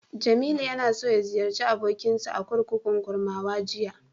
Jamilu ya so ya ziyarci abokinsa a kurkukun Kurmawa jiya.